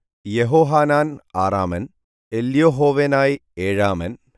യെഹോഹാനാൻ ആറാമൻ എല്യോഹോവേനായി ഏഴാമൻ